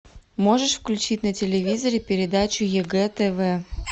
можешь включить на телевизоре передачу егэ тв